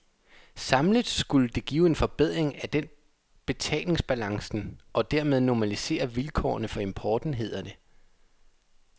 Samlet skulle det give en forbedring af den betalingsbalancen og dermed normalisere vilkårene for importen, hedder det.